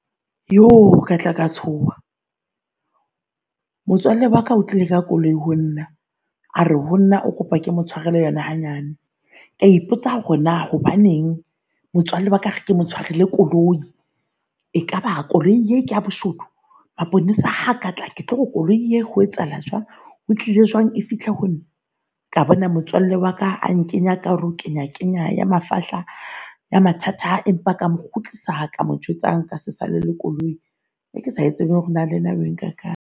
Jo katla ka tshoha, motswalle waka o tlile ka koloi ho nna. A re honna o kopa ke mo tshwarela yona hanyane. Kea ipotsa hore na hobaneng motswalle waka a re ke mo tshwarela koloi e kaba koloi ee keya boshodu? Maponesa ha katla ke tlore koloi ya ho etsahala jwang? Ho tlile jwang e fihle honna? Ka bona motswalle waka a nkenya ka hare ho kenya kenya ya mafahla ya mathata. Empa ka mo kgutlisa ka mo jwetsa nkase sale le koloi e ke sa e tsebeng lenna hore na le ena e nka kae.